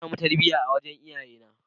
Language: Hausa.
Na sami tarbiyya a wurin iyayena.